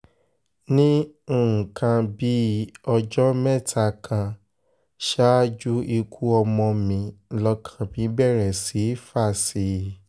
ní nǹkan bíi ọjọ́ mẹ́ta kan ṣáájú ikú ọmọ mi lọ́kàn mi bẹ̀rẹ̀ sí í fà sí i